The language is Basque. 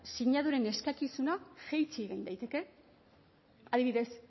sinaduren eskakizuna jaitsi egin daiteke adibidez